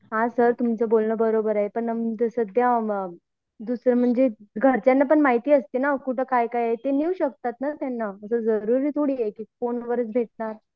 हा सर तुमचं बोलणं बरोबर आहे पन घरच्यांना पण माहित असते ना ते नेऊ शकतात ना कुठ पण जरुरी थोडी आहे कि फोनवर भेटणार